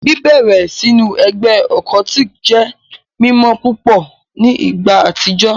Bibẹrẹ sinu ẹgbẹ occultic jẹ mimọ pupọ ni igba atijọ